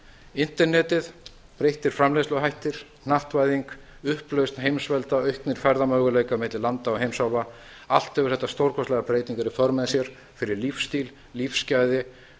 internetið breyttir framleiðsluhættir hnattvæðing upplausn heimsvelda auknir ferðamöguleikar milli landa og heimsálfa allt hefur þetta stórkostlegar breytingar í för með sér fyrir lífsstíl og lífsgæði